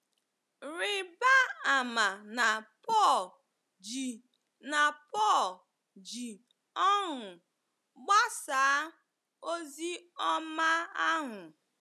Rịba ama na Pọl ji na Pọl ji ọṅụ gbasaa ozi ọma ahụ.